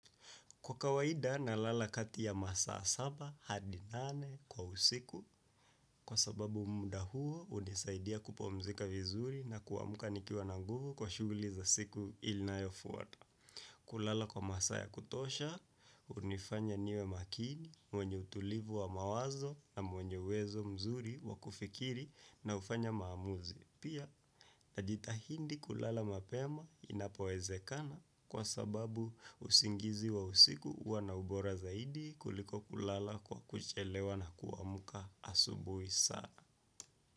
Kwa kawaida nalala kati ya masaa saba hadi nane kwa siku kwa sababu muda huo hunisaidia kupumzika vizuri na kuamka nikiwa na nguvu kwa shughuli za siku ilinayofuata. Kulala kwa masaa ya kutosha, hunifanya niwe makini, mwenye utulivu wa mawazo na mwenye uwezo mzuri wa kufikiri na kufanya maamuzi. Pia najitahidi kulala mapema inapowezekana kwa sababu usingizi wa usiku huwa na ubora zaidi kuliko kulala kwa kuchelewa na kuamka asubuhi sana.